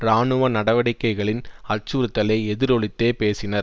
இராணுவ நடவடிக்கைகளின் அச்சுறுத்தலை எதிரொலித்தே பேசினர்